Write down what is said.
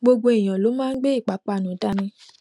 gbogbo èèyàn ló máa ń gbé ìpápánu dání